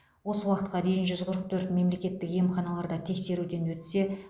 осы уақытқа дейін жүз қырық төрт мемлекеттік емханаларда тексеруден өтсе